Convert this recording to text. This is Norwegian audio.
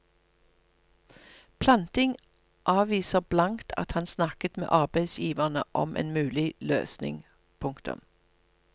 Planting avviser blankt at han snakket med arbeidsgiverne om en mulig løsning. punktum